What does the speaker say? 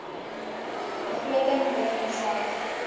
begroting begin suig